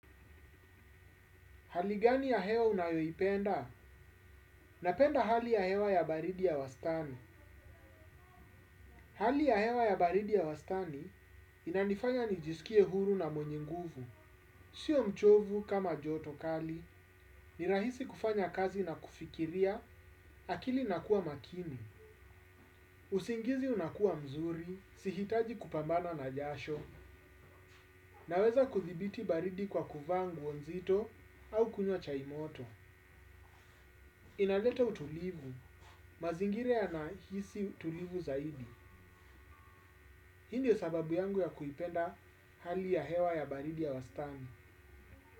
Hali gani ya hewa unayoipenda? Napenda hali ya hewa ya baridi ya wastani. Hali ya hewa ya baridi ya wastani inanifanya nijiskie huru na mwenye nguvu. Sio mchovu kama joto kali, ni rahisi kufanya kazi na kufikiria akili inakuwa makini. Usingizi unakuwa mzuri, sihitaji kupambana na jasho, naweza kudhibiti baridi kwa kuvaa nguo nzito au kunywa chai moto. Inaleta utulivu mazingira yanahisi utulivu zaidi. Hii ndio sababu yangu ya kuipenda hali ya hewa ya baridi ya wastani.